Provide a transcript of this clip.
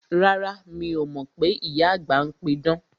Rárá, mi o mọ pé ìyá àgbà ń pí idán